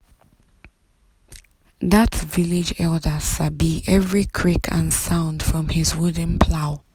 that village elder sabi every creak and sound from him wooden plow.